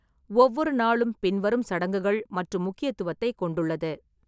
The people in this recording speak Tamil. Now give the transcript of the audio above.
ஒவ்வொரு நாளும் பின்வரும் சடங்குகள் மற்றும் முக்கியத்துவத்தை கொண்டுள்ளது: